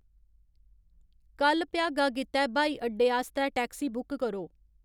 कल भ्यागा गित्तै ब्हाई अड्डे आस्तै टैक्सी बुक करो